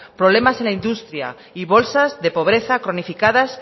problemas en la industria y bolsas de pobreza cronificadas